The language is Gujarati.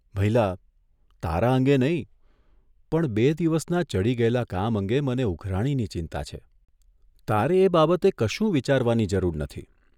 ભઇલા, તારા અંગે નહીં, પણ બે દિવસના ચઢી ગયેલા કામ અંગે મને ઉઘરાણીની ચિંતા છે, તારે એ બાબતે કશું વિચારવાની જરૂર નથી.